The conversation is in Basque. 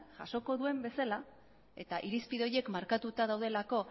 jasoko duen bezala eta irizpide horiek markatuta daudelako